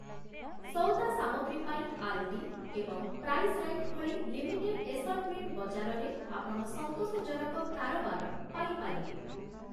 ସଉଦା ସାମଗ୍ରୀ ପାଇଁ, 'ଆଲଡି' ଏବଂ 'ପ୍ରାଇସ୍ ରାଇଟ୍' ଭଳି ଲିମିଟେଡ ଏସର୍ଟମେଣ୍ଟ ବଜାରରେ ଆପଣ ସନ୍ତୋଷଜନକ କାରବାର ପାଇପାରିବେ ।